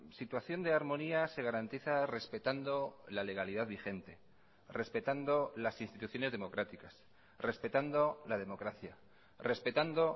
situación de armonía se garantiza respetando la legalidad vigente respetando las instituciones democráticas respetando la democracia respetando